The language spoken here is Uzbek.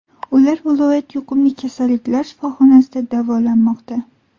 Ular viloyat yuqumli kasalliklar shifoxonasida davolanmoqda.